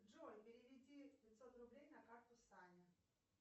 джой переведи пятьсот рублей на карту сане